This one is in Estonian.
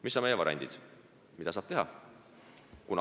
Mis on variandid, mida saab teha?